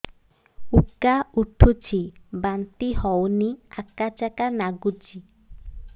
ଉକା ଉଠୁଚି ବାନ୍ତି ହଉନି ଆକାଚାକା ନାଗୁଚି